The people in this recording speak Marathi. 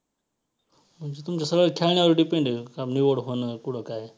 म्हणजे तुमचं सगळं खेळण्यावर depend आहे निवड होणं कुठे काय.